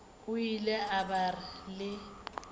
o ile a ba le